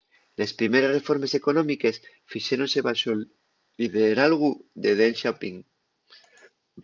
les primeres reformes económiques fixéronse baxo’l lideralgu de deng xiaoping